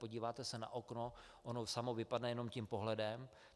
Podíváte se na okno, ono samo vypadne jenom tím pohledem.